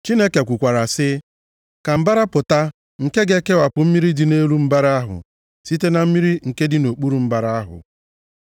Chineke kwukwara sị, “Ka mbara pụta nke ga-ekewapụ mmiri dị nʼelu mbara ahụ site na mmiri nke dị nʼokpuru mbara ahụ”